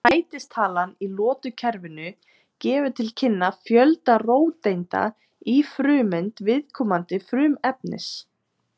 sætistalan í lotukerfinu gefur til kynna fjölda róteinda í frumeind viðkomandi frumefnis